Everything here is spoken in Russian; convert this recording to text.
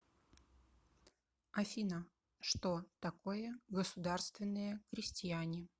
афина что такое государственные крестьяне